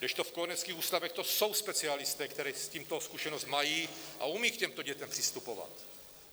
Kdežto v kojeneckých ústavech to jsou specialisté, kteří s tímto zkušenost mají a umějí k těmto dětem přistupovat.